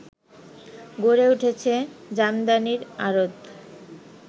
গড়ে উঠেছে জামদানির আড়ত